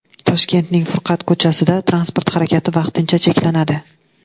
Toshkentning Furqat ko‘chasida transport harakati vaqtincha cheklanadi.